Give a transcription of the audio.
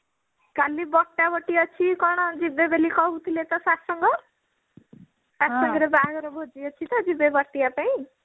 କାଲି ବଟାବଟି ଅଛି କଣ ଯିବେ ବୋଲି କହୁଥିଲେ ତ କଣ ସାତସଙ୍ଗ ସାତସଙ୍ଗ ରେ ବାହାଘର ଭୋଜି ଅଛି ତ ଯିବେ ବାଟିଆ ପାଇଁ